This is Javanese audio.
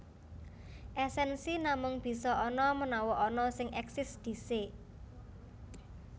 Èsènsi namung bisa ana menawa ana sing èksis dhisik